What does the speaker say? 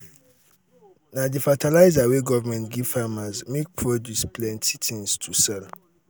na di fertilizer wey government give farmers make produce plenty tins to sell.